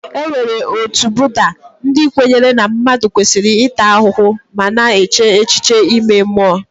E nwere ndị otu Budda, ndị kwenyere na mmadụ kwesịrị ịta ahụhụ ma na-eche echiche ime mmụọ.